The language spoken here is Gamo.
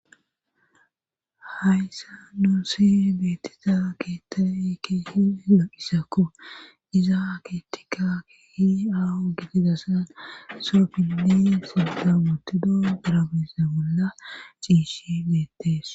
hayssan nuussi beettida keettay keehi lo7izakko iza keetteyka keehi aaho gidizasan so dimbbe sinthan wottido iza mala ciishe beettees.